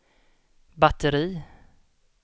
batteri